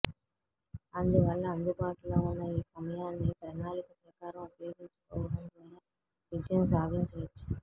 అందువల్ల అందుబాటులో ఉన్న ఈ సమయాన్ని ప్రణాళిక ప్రకారం ఉపయోగించుకోవడం ద్వారా విజయం సాధించవచ్చు